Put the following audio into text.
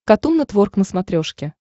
катун нетворк на смотрешке